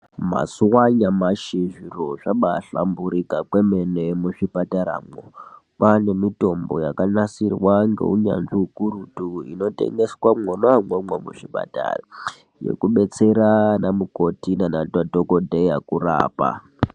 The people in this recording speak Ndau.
mazuva anyamashi zviro zvanahlamborika kwemene muzvipataramo kwaane mitombo yakanasirwa ngeunyanzvi ukurutu inotengeswa mwonamomo muzvipatara yekubetsera anamukoti nanadhokodheya kurapa .